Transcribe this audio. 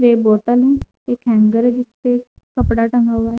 एक बोतल है। एक हेंगर भी है जिसपे कपड़ा टंगा हुआ है।